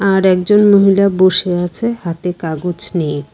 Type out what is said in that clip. আর একজন মহিলা বসে আছে হাতে কাগজ নিয়ে।